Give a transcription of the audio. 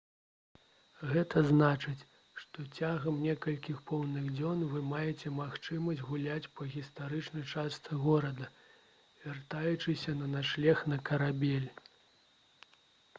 гэта значыць што цягам некалькіх поўных дзён вы маеце магчымасць гуляць па гістарычнай частцы горада вяртаючыся на начлег на карабель